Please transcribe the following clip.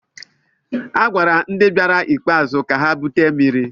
A gwara ndị bịara ikpeazụ ka ha bute mmiri.